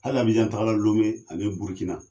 Hali ABijan tagala, Lome ani Burukina.